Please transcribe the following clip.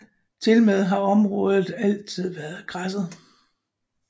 Tilmed har området altid været græsset